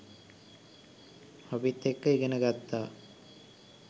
අපිත් එක්ක ඉගෙන ගත්තා.